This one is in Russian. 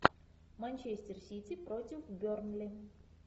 манчестер сити против бернли